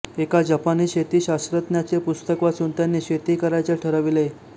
एका जपानी शेती शास्त्रज्ञाचे पुस्तक वाचून त्यांनी शेती करायचे ठरविले